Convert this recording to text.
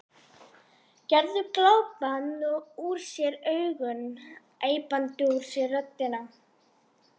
Gerður glápandi úr sér augun, æpandi úr sér röddina.